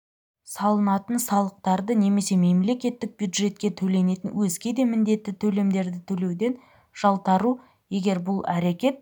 салынатын салықтарды немесе мемлекеттік бюджетке төленетін өзге де міндетті төлемдерді төлеуден жалтару егер бұл әрекет